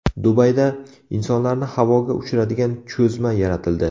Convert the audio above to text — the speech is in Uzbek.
Dubayda insonlarni havoga uchiradigan cho‘zma yaratildi .